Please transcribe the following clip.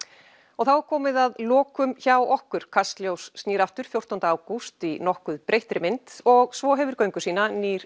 og þá er komið að lokum hjá okkur Kastljós snýr aftur fjórtán ágúst í nokkuð breyttri mynd og svo hefur göngu sína nýr